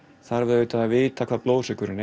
þarf að vita hver blóðsykurinn